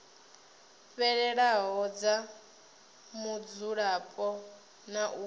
fhelelaho dza mudzulapo na u